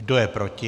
Kdo je proti?